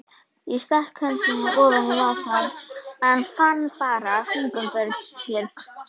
Ég stakk hendinni ofan í vasann, en fann bara fingurbjörg.